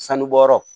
Sanubɔyɔrɔ